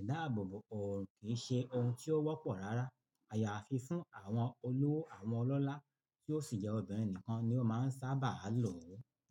ìdáàbòbò ọ̀ọ̀run kì í ṣe ohun tí ó wọ́pọ̀ rárá. Àyàfi fún àwọn olówó àwọn ọlọ́lá tí ó sì jẹ́ obìnrin nìkan ni ó máa ń sábà lòó.